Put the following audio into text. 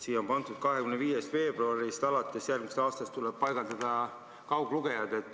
Siin on öeldud, et alates järgmise aasta 25. veebruarist tuleb paigaldada kauglugejad.